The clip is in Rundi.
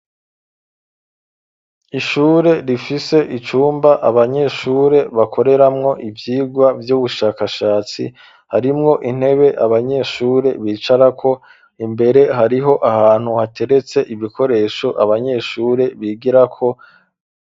Ishure rifise icumba abanyeshure bakoreramwo ivyigwa vy'ubushakashatsi harimwo intebe abanyeshure bicarako imbere hariho ahantu hateretse ibikoresho abanyeshure bigirako.